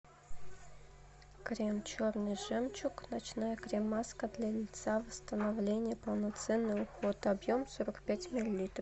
крем черный жемчуг ночная крем маска для лица восстановление полноценный уход объем сорок пять миллилитров